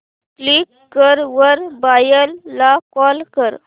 Quikr वर buyer ला call कर